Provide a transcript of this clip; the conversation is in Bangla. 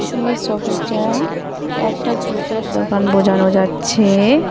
এই সবিটা একটা জুতোর দোকান বোঝানো যাচ্ছে।